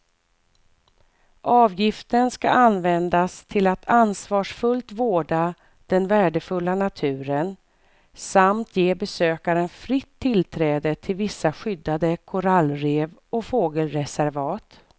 Avgiften ska användas till att ansvarsfullt vårda den värdefulla naturen samt ge besökaren fritt tillträde till vissa skyddade korallrev och fågelreservat.